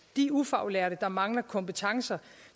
de ufaglærte der mangler kompetencer